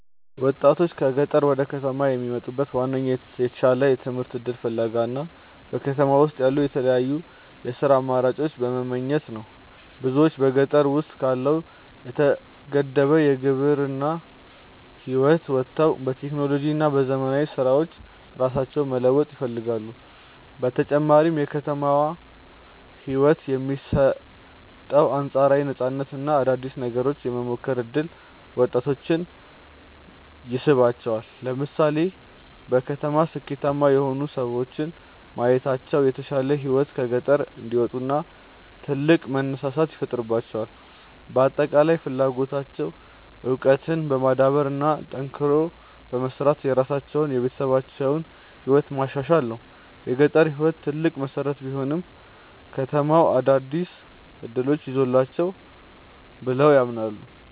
ወጣቶች ከገጠር ወደ ከተማ የሚመጡት በዋናነት የተሻለ የትምህርት እድል ፍለጋ እና በከተማ ውስጥ ያሉ የተለያዩ የሥራ አማራጮችን በመመኘት ነው። ብዙዎች በገጠር ውስጥ ካለው የተገደበ የግብርና ህይወት ወጥተው በቴክኖሎጂ እና በዘመናዊ ስራዎች ራሳቸውን መለወጥ ይፈልጋሉ። በተጨማሪም የከተማው ህይወት የሚሰጠው አንፃራዊ ነፃነት እና አዳዲስ ነገሮችን የመሞከር እድል ወጣቶችን ይስባቸዋል። ለምሳሌ በከተማ ስኬታማ የሆኑ ሰዎችን ማየታቸው ለተሻለ ህይወት ከገጠር እንዲወጡ ትልቅ መነሳሳት ይፈጥርላቸዋል። በአጠቃላይ ፍላጎታቸው እውቀትን በማዳበር እና ጠንክሮ በመስራት የራሳቸውንና የቤተሰባቸውን ህይወት ማሻሻል ነው። የገጠር ህይወት ትልቅ መሰረት ቢሆንም፣ ከተማው አዳዲስ እድሎችን ይዞላቸዋል ብለው ያምናሉ።